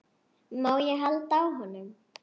Má ég halda á honum?